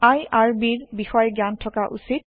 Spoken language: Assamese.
আইআৰবি ৰ বিষয়ে জ্ঞান থকা উচিত